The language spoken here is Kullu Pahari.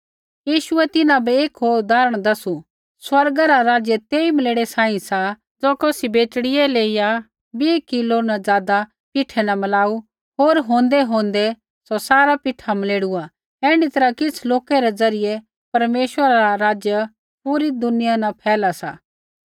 यीशुऐ तिन्हां बै एक होर उदाहरण दसु स्वर्ग रा राज्य तेई मलेड़े सांही सा ज़ो कौसी बेटड़ियै लेईया बीह किलो न ज़ादा पिठै न मलाऊ होर होंदैहोंदै सौ सारा पिठा मलेड़ुआ ऐण्ढी तैरहा किछ़ लोकै रै ज़रियै परमेश्वरा रा राज पूरी दुनिया न फैला सा